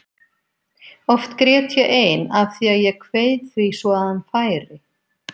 Oft grét ég ein af því að ég kveið því svo að hann færi.